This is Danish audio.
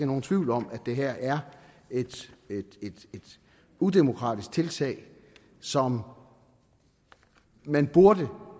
nogen tvivl om at det her er et udemokratisk tiltag som man burde